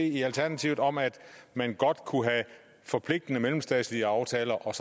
i alternativet om at man godt kunne have forpligtende mellemstatslige aftaler og